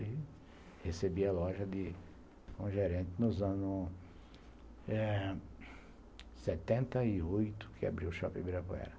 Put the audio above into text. Aí recebi a loja de como gerente nos anos eh setenta e oito, que abriu o Shopping Ibirapuera.